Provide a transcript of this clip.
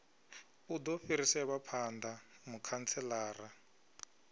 u do fhiriselwa phanda mukhantselara